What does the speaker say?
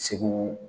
Segu